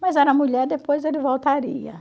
Mas era mulher, depois ele voltaria.